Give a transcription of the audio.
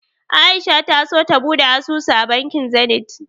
A'isha ta so ta buɗe asusu a bankin Zenith.